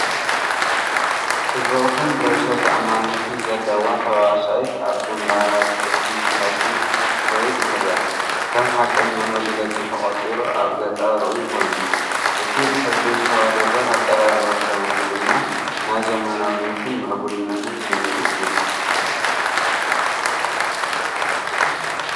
ጽብቕትን ርእሰ ተኣማንነትን ዘለዋ ተዋሳኢት ኣብ ግንባር ቅዲ ፋሽን ክትከይድ ትርአ። ከም ሓቀኛ መግለጺ ተቖጺሩ ኣብ ገጻ ርኡይ ኮይኑ፡ እቲ ብሕብሪ ዝተዋደደ ኣቀራርባ ክዳውንቲ ድማ ናይ ዘመናዊነትን ምዕቡልነትን ስምዒት ይህብ።